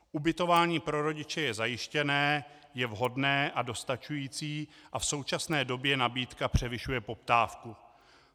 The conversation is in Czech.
Ubytování pro rodiče je zajištěné, je vhodné a dostačující a v současné době nabídka převyšuje poptávku.